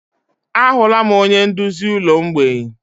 Ahụla m onye nduzi ụlọ mgbei.